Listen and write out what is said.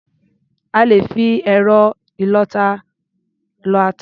À lè fi ẹ̀rọ ìlọ-ata lọ ata.